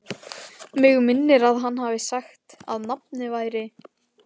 Mig minnir að hann hafi sagt að nafnið væri